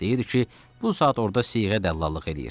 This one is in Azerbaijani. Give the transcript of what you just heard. Deyirdi ki, bu saat orda siğə dəllallıq eləyir.